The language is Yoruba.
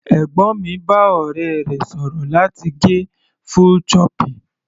Ẹ̀gbọ́n mi bá ọ̀rẹ́ rẹ̀ sọ̀rọ̀ láti gẹ full choppy.